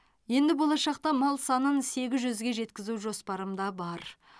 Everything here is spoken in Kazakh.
енді болашақта мал санын сегіз жүзге жеткізу жоспарымда бар